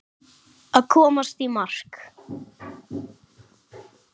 Að komast í mark